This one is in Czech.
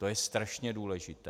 To je strašně důležité.